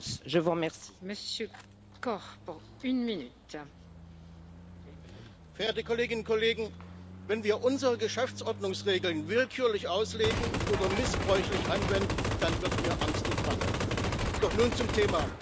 Frau Präsidentin, verehrte Kolleginnen und Kollegen! Wenn wir unsere Geschäftsordnungsregeln willkürlich auslegen oder missbräuchlich anwenden, dann wird mir angst und bange. Doch nun zum Thema.